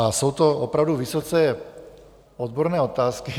A jsou to opravdu vysoce odborné otázky.